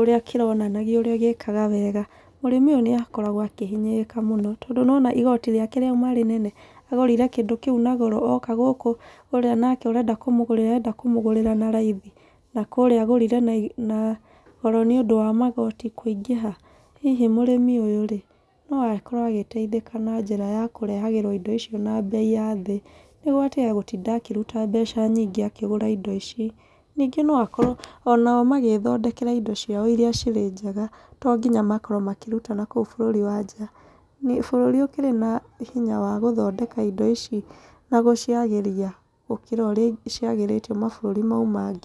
ũrĩa kĩronanagio ũrĩa gĩkaga wega. Mũrĩmi ũyũ nĩ akoragwo akĩhinyĩrĩrĩka mũno, tondũ nĩwona igoti rĩake riuma inene, agũrire kĩndũ kĩu na goro oka gũkũ ũrĩa nake ũrenda kũmũgũrĩra arenda kũmũgũrĩra na raithi. Na kũrĩa agũrire na na goro nĩ ũndũ wa magoti kũingĩha. Hihi mũrĩmi ũyũ rĩ no akorwo agĩteithĩka na njĩra ya kũrehagĩrwo indo icio na mbei ya thĩ. Nĩguo atige gũtinda akĩruta mbeca nyingĩ akĩgũra indo ici. Ningĩ no akorwo ona o magethondekera indo ciao irĩa irĩa ciri njega to nginya makorwo makĩruta na kũo bũrũri wa nja. Bũrũri ũkĩrĩ na hinya wa gũthondeka indo ici, na gũciagĩria gũkĩra ũrĩa ciagĩrĩtwo mabũrũri mau mangĩ.